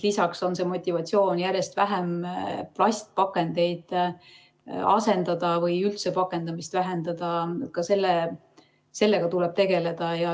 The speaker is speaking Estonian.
Lisaks tuleb tegeleda ka motivatsiooniga järjest plastpakendeid asendada või üldse pakendamist vähendada.